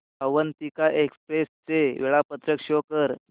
Avantika express चे वेळापत्रक show कर